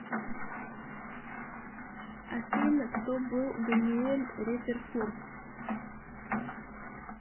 афина кто был даниэль резерфорд